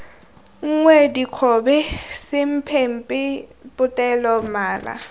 nngwe dikgobe semphemphe potele mala